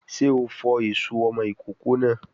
Sé o fọ èso ọmọ ìkókó náà?